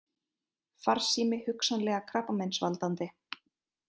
Farsími hugsanlega krabbameinsvaldandi